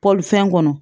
Pɔlifɛn kɔnɔ